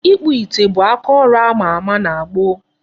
Ịkpụ ite bụ akaọrụ ama ama na gboo.